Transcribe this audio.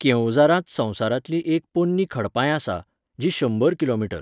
केओंझारांत संवसारांतली एक पोरनी खडपांय आसा, जी शंबर किलोमीटर.